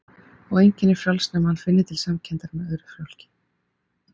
Og enginn er frjáls nema hann finni til samkenndar með öðru fólki.